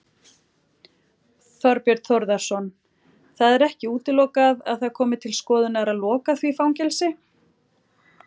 Þorbjörn Þórðarson: Það er ekki útilokað að það komi til skoðunar að loka því fangelsi?